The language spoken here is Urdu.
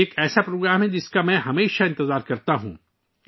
یہ ایک ایسا پروگرام ہے، جس کا میں ہمیشہ انتظار کرتا ہوں